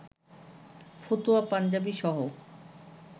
ফতুয়া, পাঞ্জাবিসহ